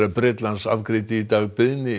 Bretlands afgreiddi í dag beiðni